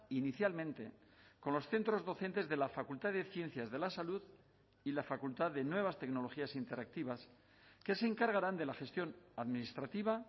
inicialmente con los centros docentes de la facultad de ciencias de la salud y la facultad de nuevas tecnologías interactivas que se encargarán de la gestión administrativa